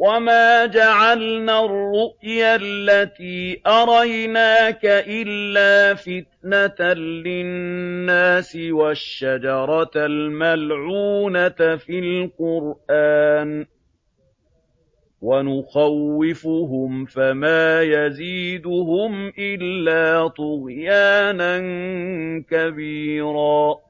وَمَا جَعَلْنَا الرُّؤْيَا الَّتِي أَرَيْنَاكَ إِلَّا فِتْنَةً لِّلنَّاسِ وَالشَّجَرَةَ الْمَلْعُونَةَ فِي الْقُرْآنِ ۚ وَنُخَوِّفُهُمْ فَمَا يَزِيدُهُمْ إِلَّا طُغْيَانًا كَبِيرًا